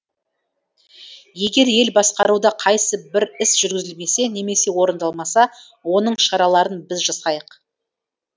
егер ел басқаруда қайсы бір іс жүргізілмесе немесе орындалмаса оның шараларын біз жасайық